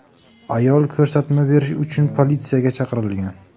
Ayol ko‘rsatma berish uchun politsiyaga chaqirilgan.